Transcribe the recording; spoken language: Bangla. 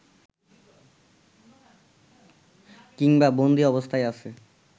কিংবা বন্দী অবস্থায় আছে